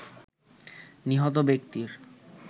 নিহত ব্যক্তির